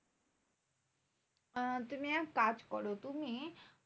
আহ তুমি এক কাজ করো তুমি